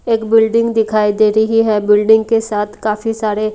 एक बिल्डिंग दिखाई दे रही है बिल्डिंग के साथ काफी सारे--